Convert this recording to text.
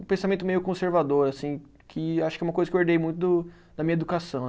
Um pensamento meio conservador assim, que acho que é uma coisa que eu herdei muito do da minha educação.